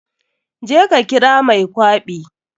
Je ka kira mai kwaɓi.